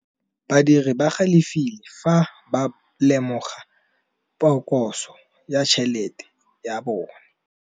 Badiri ba galefile fa ba lemoga phokotsô ya tšhelête ya bone.